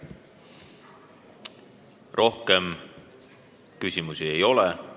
Rohkem küsimusi ei ole.